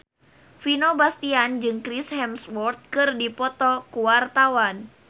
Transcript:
Vino Bastian jeung Chris Hemsworth keur dipoto ku wartawan